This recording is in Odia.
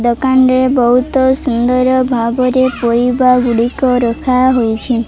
ଦୋକାନରେ ବହୁତ ସୁନ୍ଦର ଭାବରେ ପରିବାଗୁଡ଼ିକ ରଖାହୋଇଛି।